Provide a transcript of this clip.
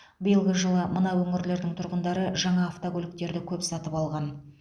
биылғы жылы мына өңірлердің тұрғындары жаңа автокөліктерді көп сатып алған